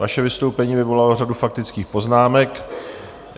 Vaše vystoupení vyvolalo řadu faktických poznámek.